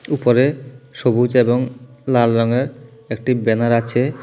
উপরে সবুজ এবং লাল রঙের একটি ব্যানার আছে।